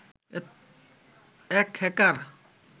এক হ্যাকার